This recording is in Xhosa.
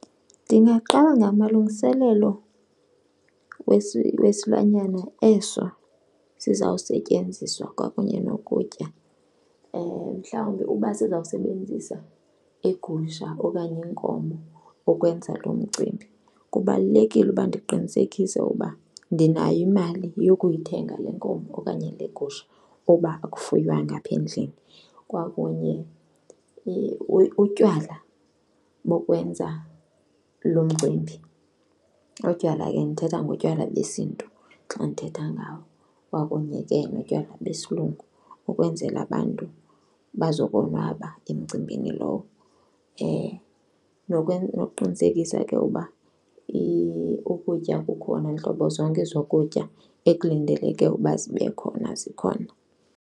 Ndingaqala ngamalungiselelo wesilwanyana eso sizawusetyenziswa kwakunye nokutya. Mhlawumbi uba sizawusebenzisa igusha okanye inkomo ukwenza lo mcimbi, kubalulekile uba ndiqinisekise ukuba ndinayo imali yokuyithenga le nkomo okanye le gusha uba akufuywanga apha endlini kwakunye utywala bokwenza lo mcimbi. Utywala ke ndithetha ngotywala besiNtu xa ndithetha ngawo kwakunye ke notywala besilungu ukwenzela abantu bazokonwaba emcimbini lowo. Nokuqinisekisa ke uba ukutya kukhona, ntlobo zonke zokutya ekulindeleke ukuba zibe khona zikhona.